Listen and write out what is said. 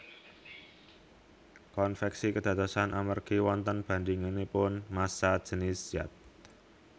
Konveksi kédadosan amergi wonten bandinganipun massa jènis zat